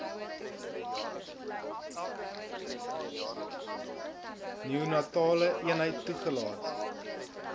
neonatale eenheid toegelaat